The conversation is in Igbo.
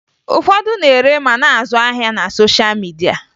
Ụfọdụ na-ere ma na-azụ ahịa na sosha midia